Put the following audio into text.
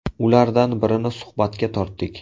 Ulardan birini suhbatga tortdik.